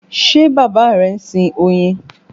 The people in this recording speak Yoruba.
Ṣe bàbá rẹ ń sin oyin?